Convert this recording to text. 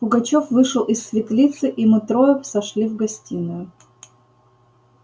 пугачёв вышел из светлицы и мы трое сошли в гостиную